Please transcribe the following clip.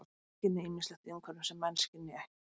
Hundar skynja ýmislegt í umhverfinu sem menn skynja ekki.